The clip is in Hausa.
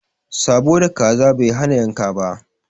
Sãbo da kaza Bai hana yanka ba